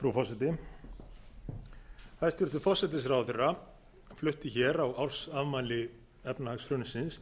frú forseti hæstvirtur forsætisráðherra flutti á ársafmæli efnahagshrunsins